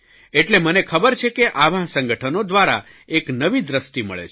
એટલે મને ખબર છે કે આવાં સંગઠનો દ્વારા એક નવી દ્રષ્ટિ મળે છે